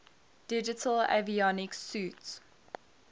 digital avionics suite